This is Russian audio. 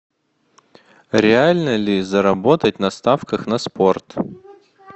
реально ли заработать на ставках на спорт